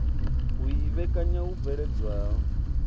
u i vhekanya hu bveledzwaho